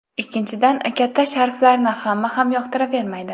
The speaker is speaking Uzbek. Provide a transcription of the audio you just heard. Ikkinchidan, katta sharflarni hamma ham yoqtiravermaydi.